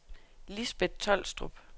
Lisbeth Tolstrup